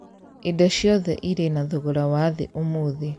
Indo ciothe irĩ na thogora wa thĩ ũmũthĩ